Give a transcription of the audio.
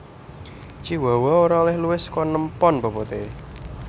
Chihuahua ora olèh luwih saka enem pon boboté